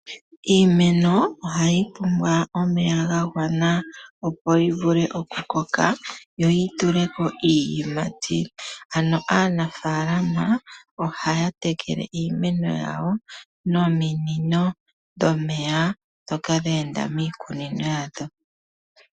Iimeno ohayi pumbwa omeya ga gwana opo yivule oku koka yo yi tuleko iiyimati. Aanafaalama ohaya tekele iimeno yawo nominino dhomeya ndhoka dha enda miikunino yawo.